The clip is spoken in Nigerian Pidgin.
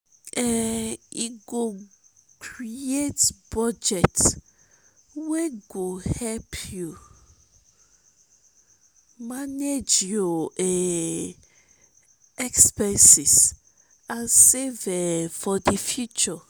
um e go create budget wey go help you manage your um expenses and save um for di future.